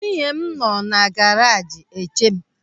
Nwunye m nọ na garajị na-eche m.